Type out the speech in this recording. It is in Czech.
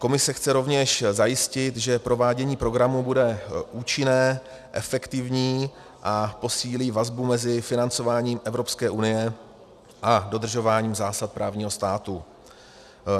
Komise chce rovněž zajistit, že provádění programu bude účinné, efektivní a posílí vazbu mezi financováním Evropské unie a dodržováním zásad právního státu.